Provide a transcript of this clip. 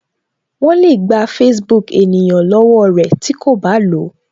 Wọn le gba Facebook ènìyàn lọwọ rẹ tí ko ba lo